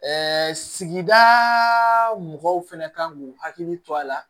Ɛɛ sigidaa mɔgɔw fɛnɛ kan k'u hakili to a la